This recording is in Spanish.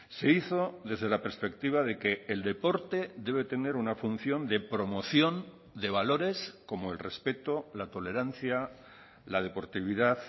se hizo desde la perspectiva de que el deporte debe tener una función de promoción de valores como el respeto la tolerancia la deportividad